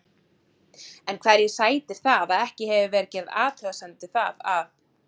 En hverju sætir það að ekki hefur verið gerð athugasemd við það að